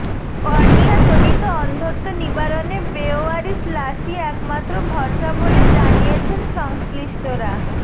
কর্নিয়াজনিত অন্ধত্ব নিবারণে বেওয়ারিশ লাশই একমাত্র ভরসা বলে জানিয়েছেন সংশ্নিষ্টরা